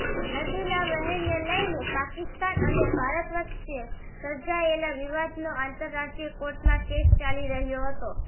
નદીના વહેણને લઇને પાકિસ્તાન અને ભારત વચ્ચે સર્જાયેલા વિવાદનો આંતરરાષ્ટ્રીય કોર્ટમાં કેસ ચાલી રહ્યો હતો